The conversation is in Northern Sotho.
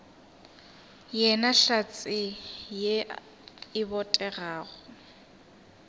yena hlatse ye e botegago